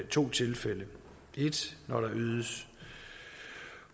to tilfælde 1 når der ydes